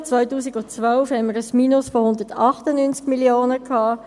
Ich erinnere: Im Jahr 2012 hatten wir ein Minus von 198 Mio. Franken;